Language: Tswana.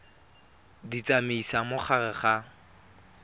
di tsamaisa mo gare ga